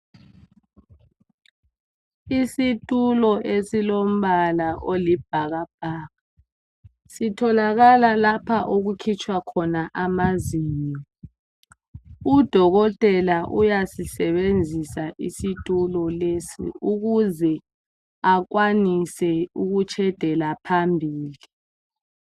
Isitulo esilombala olibhakabhaka sitholakala lapha okukhitshwa khona amazinyo. Udokotela uyasisebenzisa isitulo lesi ukuze akwanise ukutshedela phambili.